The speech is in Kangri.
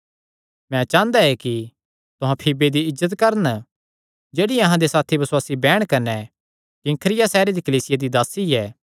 मैं चांह़दा ऐ कि तुहां फीबे दी इज्जत करन जेह्ड़ी अहां दी साथी बसुआसी बैहण कने किंख्रिया सैहरे दी कलीसिया दी दासी ऐ